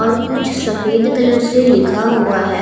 और कुछ सफेद कलर से लिखा हुआ है।